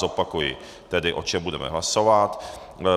Zopakuji tedy, o čem budeme hlasovat.